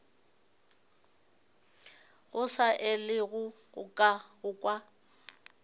go sa elwego go kwa